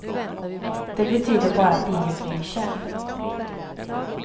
Det betyder bara att ingen bryr sig.